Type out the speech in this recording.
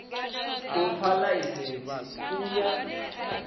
u fha ḽaisentsi u ya